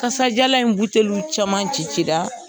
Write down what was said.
Kasajalan in buteliw caman ci ci la.